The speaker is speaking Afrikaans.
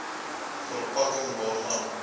ver pakking waarvan